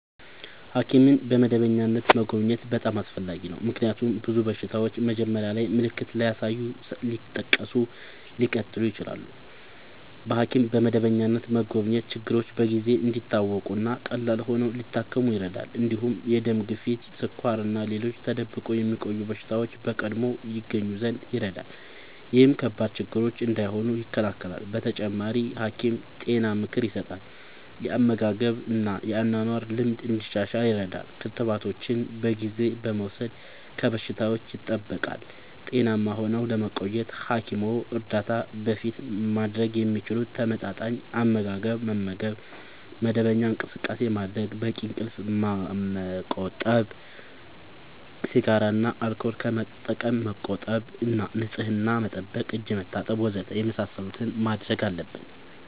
ሐኪምን በመደበኛነት መጎብኘት በጣም አስፈላጊ ነው፤ ምክንያቱም ብዙ በሽታዎች መጀመሪያ ላይ ምልክት ሳያሳዩ ሊቀጥሉ ይችላሉ። በሐኪም በመደበኛነት መጎብኘት ችግሮች በጊዜ እንዲታወቁ እና ቀላል ሆነው ሊታከሙ ይረዳል። እንዲሁም የደም ግፊት፣ ስኳር እና ሌሎች ተደብቆ የሚቆዩ በሽታዎች በቀድሞ ይገኙ ዘንድ ይረዳል። ይህም ከባድ ችግር እንዳይሆኑ ይከላከላል። በተጨማሪ፣ ሐኪም ጤና ምክር ይሰጣል፣ የአመጋገብ እና የአኗኗር ልምድ እንዲሻሻል ይረዳል። ክትባቶችን በጊዜ በመውሰድ ከበሽታዎች ይጠብቃል። ጤናማ ሆነው ለመቆየት ከሐኪም እርዳታ በፊት ማድረግ የሚችሉት፦ ተመጣጣኝ አመጋገብ መመገብ፣ መደበኛ እንቅስቃሴ ማድረግ፣ በቂ እንቅልፍ ማመቆጠብ፣ ሲጋራ እና አልኮል ከመጠቀም መቆጠብ እና ንጽህና መጠበቅ (እጅ መታጠብ ወዘተ) የመሳሰሉትን ማድረግ አለብን።